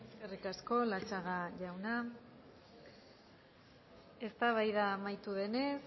eskerrik asko latxaga jauna eztabaida amaitu denez